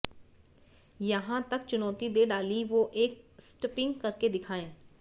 यहां तक चुनौती दे डाली वो एक स्टंपिंग करके दिखाएं